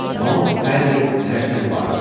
mount Harriet National park